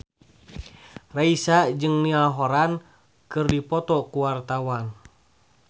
Raisa jeung Niall Horran keur dipoto ku wartawan